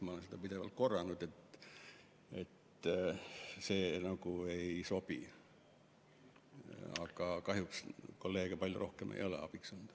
Ma olen pidevalt seda korranud, et see ei sobi, aga kahjuks kolleege palju rohkem ei ole abiks olnud.